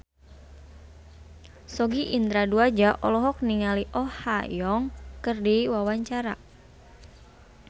Sogi Indra Duaja olohok ningali Oh Ha Young keur diwawancara